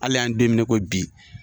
Hali an ye don mina i ko bi.